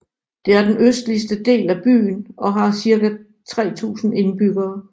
Det er den østligste del af byen og har cirka 3000 indbyggere